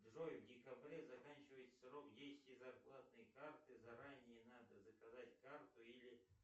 джой в декабре заканчивается срок действия зарплатной карты заранее надо заказать карту или